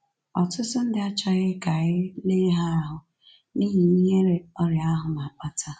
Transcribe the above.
Ọtụtụ ndị achọghị ka e lee ha ahụ n’ihi ihere ọrịa ahụ na-akpata